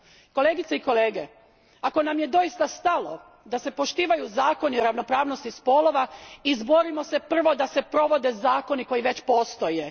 Kolegice i kolege, ako nam je doista stalo da se poštivaju zakoni ravnopravnosti spolova izborimo se najprije da se provode zakoni koji već postoje.